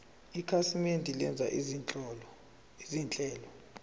ikhasimende lenza izinhlelo